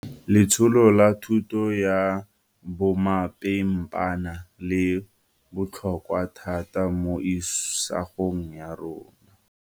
Letsholo la thuto ya bomapimpana le botlhokwa thata mo isagong ya rona.